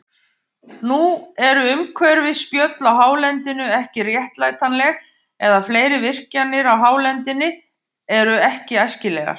Nú eru umhverfisspjöll á hálendinu ekki réttlætanleg, eða fleiri virkjanir á hálendinu eru ekki æskilegar.